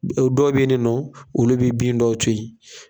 Dɔw be yen ni nɔ , olu be bin dɔw to yen.